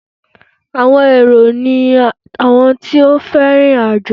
Àwọn èrò ni àwọn tó fẹ́ rìn ìrìn àjò.